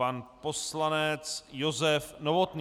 Pan poslanec Josef Novotný.